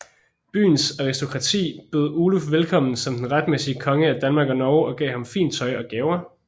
Byens aristokrati bød Oluf velkommen som den retmæssige konge af Danmark og Norge og gav ham fint tøj og gaver